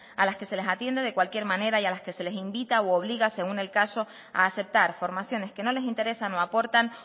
a las que se les atiende de cualquier manera y a las que se les invita u obliga según el caso a aceptar formaciones que no les interesan o aportan